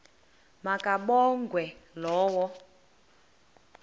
ma kabongwe low